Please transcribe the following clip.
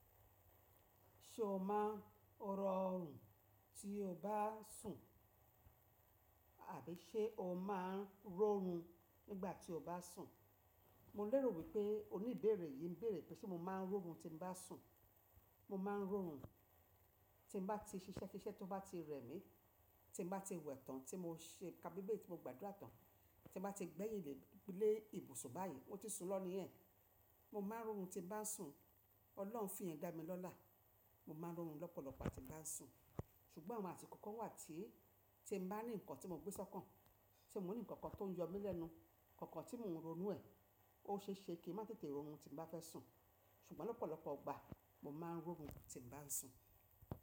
Ṣé o máa ń rọ́rùn tí o bá sùn? Àbí ṣé o máa ń rọ rùn nígbà tí o bá sùn? Mo lérò wípé oníbèrè yìí ń bèrè pé ṣé mo máa ń rọ rùn tí mo bá sùn. Mo máa ń rọ rùn tí mo bá ti ṣiṣẹ́ kí iṣẹ́ tó bá ti rẹ mí, tí mo bá ti wẹ̀ tán tí mo ṣe kábíbí tí mo gbàdúrà tán, tí mo bá ti gbẹ́yìǹlẹ́ lé ibùsùn báyìí, mó ti sùn lọ níẹ̀. Mo máa ń rọ rùn tí bá sùn. Ọlọ́run fi ẹ̀ dá mi lọ́là. Mo máa ń rọ rùn lọ́pọ̀lọpọ̀ àti bá ń sùn. Ṣùgbọ́n àwọn àti ko kan wà tí, tí mo bá ní nǹkan tí mo gbé sọ́kàn, tí mo ní nǹkan kan tó ń yọ mi lẹ́nu, nǹkan kan tí mò ń ronú ẹ̀, ó ṣe é ṣe kí e má tètè rọrùn tí bá fẹ́ sùn. Ṣùgbọ́n lọ́pọ̀lọpọ̀ ọgbàá mo máa ń rọ rùn tí bá ń sùn.